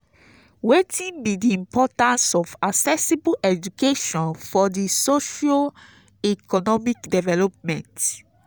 wetin be di importance of accessible education for di socio-economic development?